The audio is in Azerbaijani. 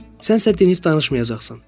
Sənsə dinib danışmayacaqsan.